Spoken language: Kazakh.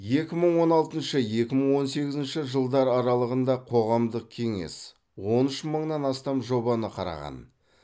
екі мың он алтыншы екі мың он сегізінші жылдар аралығында қоғамдық кеңес он үш мыңнан астам жобаны қараған